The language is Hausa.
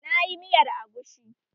Na yi miyar agushi